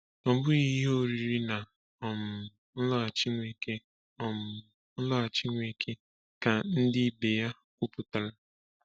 Ọ bụghị ihe ọrịrị na um nloghachi Nweke um nloghachi Nweke ka ndị ibe ya kwupụtara!